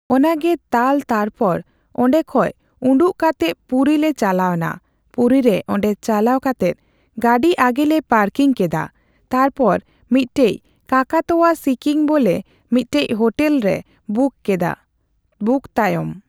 ᱚᱱᱟᱜᱮ ᱛᱟᱞᱚ ᱛᱟᱨᱯᱚᱨ ᱚᱸᱰᱮ ᱠᱷᱚᱡ ᱩᱸᱰᱩᱜ ᱠᱟᱛᱮᱜ ᱯᱩᱨᱤ ᱞᱮ ᱪᱟᱞᱟᱣ ᱱᱟ, ᱯᱩᱨᱤ ᱨᱮ ᱚᱸᱰᱮ ᱪᱟᱞᱟᱣ ᱠᱟᱛᱮᱜ ᱜᱟᱰᱤ ᱟᱜᱮ ᱞᱮ ᱯᱟᱨᱠᱤᱝ ᱠᱮᱫᱟ ᱛᱟᱨᱯᱚᱨ ᱢᱤᱜᱴᱮᱡ ᱠᱟᱠᱟᱛᱚᱣᱟ ᱥᱤᱠᱤᱝ ᱵᱚᱞᱮ ᱢᱤᱜᱴᱮᱡ ᱦᱳᱴᱮᱞ ᱞᱮ ᱵᱩᱠᱤᱝ ᱠᱮᱫᱟ ᱾ᱵᱩᱠ ᱛᱟᱭᱚᱢ᱾